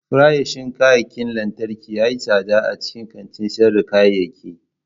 Farashin kayan lantarki ya yi tsada a cikin kantin sayar da kayayyaki.